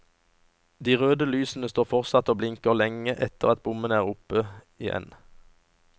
De røde lysene står fortsatt og blinker lenge etter at bommene er oppe igjen.